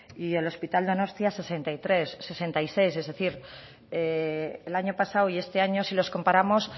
y el hospital donostia sesenta y seis es decir el año pasado y este año si los comparamos